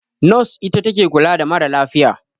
Nos ita take kula da ma ra lafiya